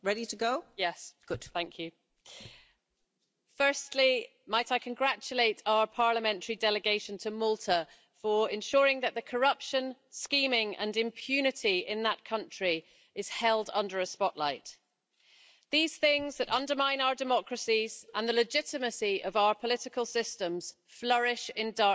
Madam President, firstly might I congratulate our parliamentary delegation to Malta for ensuring that the corruption, scheming and impunity in that country is held under a spotlight. These things that undermine our democracies and the legitimacy of our political systems flourish in darkness.